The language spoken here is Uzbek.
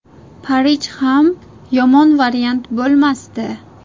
Parij ham yomon variant bo‘lmasdi.